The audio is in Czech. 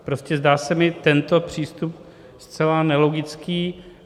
Prostě zdá se mi tento přístup zcela nelogický.